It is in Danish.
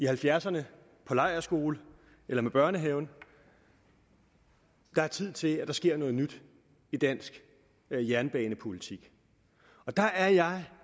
halvfjerdserne på lejrskole eller med børnehaven det er tid til at der sker noget nyt i dansk jernbanepolitik og der er jeg